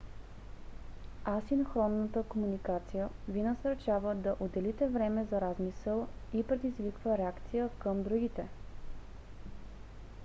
асинхронната комуникация ви насърчава да отделите време за размисъл и предизвиква реакция към другите